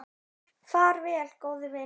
Far vel, góði vinur.